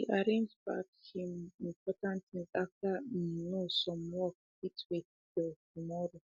he arrangeback him um um important things after um e um know some work fit wait till tomorrow